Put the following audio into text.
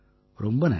ரொம்ப நன்றி